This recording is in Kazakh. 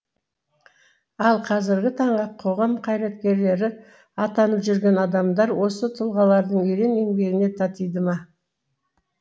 ал қазіргі таңғы қоғам қайраткерлері атанып жүрген адамдар осы тұлғалардың ерен еңбегіне татиды ма